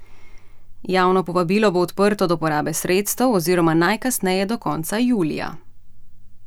Javno povabilo bo odprto do porabe sredstev oziroma najkasneje do konca julija.